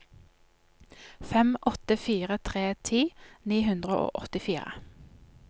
fem åtte fire tre ti ni hundre og åttifire